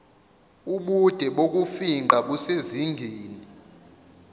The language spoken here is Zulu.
ubude bokufingqa busezingeni